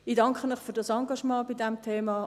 Ich danke Ihnen für das Engagement bei diesem Thema.